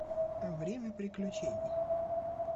время приключений